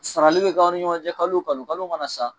Sarali bɛ kɛ an ni ɲɔgɔncɛ kalo wo kalo kalo mana sa.